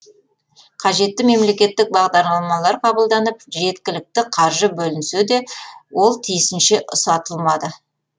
қажетті мемлекеттік бағдарламалар қабылданып жеткілікті қаржы бөлінсе де ол тиісінше ұсатылмады